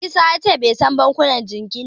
Isa ya ce bai san bankunan jingina ba.